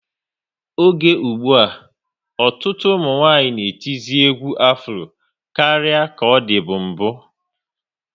Oge ụgbụa, ọtụtụ ụmụnwanyị na etizi egwu Afro karịa ka ọ dịbu n'mbu